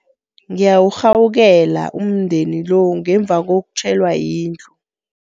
Ngiyawurhawukela umndeni lo ngemva kokutjhelwa yindlu.